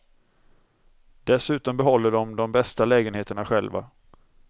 Dessutom behåller de de bästa lägenheterna själva.